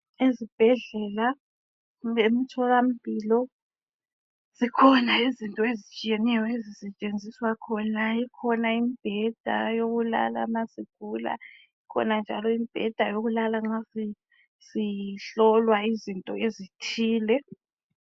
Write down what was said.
Ezibhedlela lemtholampilo zikhona izinto ezitshiyeneyo ezisetshenziswa khona ikhona imibheda yokulala ma sigula, ikhona imibheda yokulala ma sihlolwa izinto ezithile